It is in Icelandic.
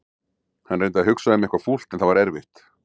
Hann reyndi að hugsa um eitthvað fúlt en það var erfitt.